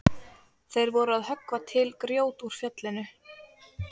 Þeir voru að höggva til grjót úr fjallinu.